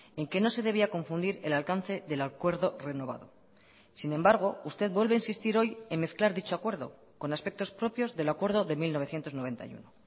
en que no se debía confundir el alcance del acuerdo renovado sin embargo usted vuelve a insistir hoy en mezclar dicho acuerdo con aspectos propios del acuerdo de mil novecientos noventa y uno